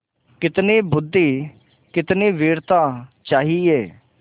कितनी बुद्वि कितनी वीरता चाहिए